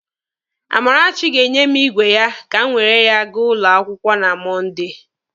Amarachi ga-enye m igwe ya ka m were ya gaa ụlọ akwụkwọ na Mọnde.